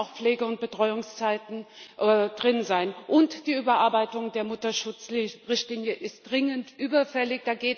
Da müssen auch Pflege und Betreuungszeiten drin sein. Und die Überarbeitung der Mutterschutzrichtlinie ist dringend überfällig.